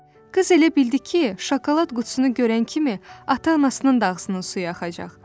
Qız elə bildi ki, şokolad qutusunu görən kimi ata-anasının da ağzının suyu axacaq.